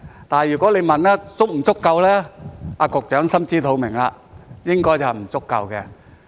但是，如果你問足不足夠，局長也心知肚明，應該是不足夠的。